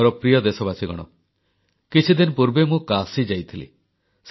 ମୋର ପ୍ରିୟ ଦେଶବାସୀଗଣ କିଛିଦିନ ପୂର୍ବେ ମୁଁ କାଶୀ ଯାଇଥିଲି